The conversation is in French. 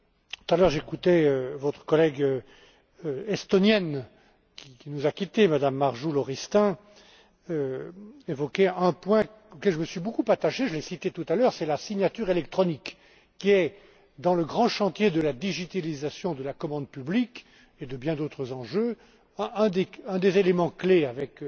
Tout à l'heure j'écoutais votre collègue estonienne, qui nous a quitté, Mme Marju Lauristin qui évoquait un point auquel je me suis beaucoup attaché, je l'ai cité tout à l'heure, c'est la signature électronique qui est, dans le grand chantier de la digitalisation de la commande publique et de bien d'autres enjeux, un des éléments clés avec